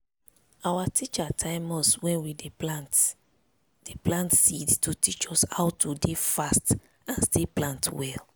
our teacher time us when we dey plant dey plant seed to teach us how to dey fast and still plant well.